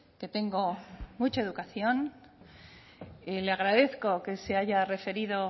que tengo mucha educación y le agradezco que se haya referido